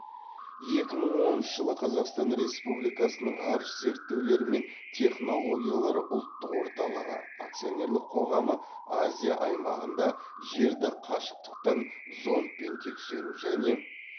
екі мың оныншы жылы қазақстан республикасының ғарыш зерттеулері мен технологиялары ұлттық орталығы акционерлік қоғамы азия аймағында жерді қашықтықтан зондпен тексеру және